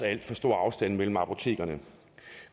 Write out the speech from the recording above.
alt for store afstand mellem apotekerne